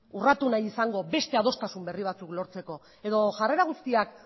urratu nahi izango beste adostasun berri batzuk lortzeko edo jarrera guztiak